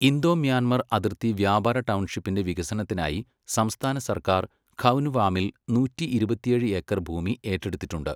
Indo, Myanmar അതിർത്തി വ്യാപാര ടൗൺഷിപ്പിൻ്റെ വികസനത്തിനായി സംസ്ഥാന സർക്കാർ ഖൗനുവാമിൽ നൂറ്റി ഇരുപത്തിയേഴ് ഏക്കർ ഭൂമി ഏറ്റെടുത്തിട്ടുണ്ട്.